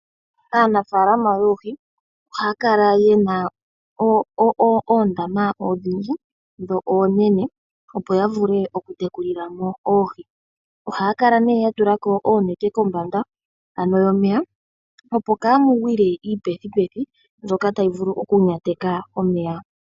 Aanafaalama yoohi ohaya kala yena oondama odhindji dho oonene opo yavule okutekulila mo oohi. Ohaya kala ne yatulako oonete kombanda ano momeya opo kamugwile iipethipethi mbyoka tayi vulu okunyateka omeya.